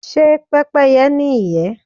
Ṣé Pẹ́pẹ́yẹ́ ní ìyẹ́?